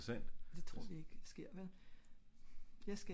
det tror vi ik sker vel?